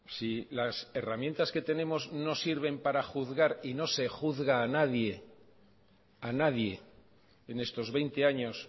si las herramientas que tenemos no sirven para juzgar y no se juzga a nadie en estos veinte años